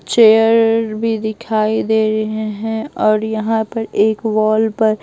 chair भी दिखाई दे रहे हैं और यहां पर एक वॉल पर--